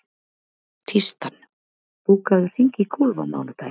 Tístran, bókaðu hring í golf á mánudaginn.